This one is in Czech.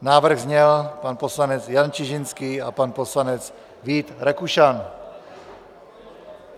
Návrh zněl: pan poslanec Jan Čižinský a pan poslanec Vít Rakušan.